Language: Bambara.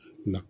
Na